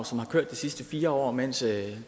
som har kørt de sidste fire år mens